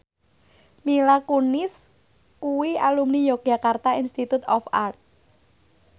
Mila Kunis kuwi alumni Yogyakarta Institute of Art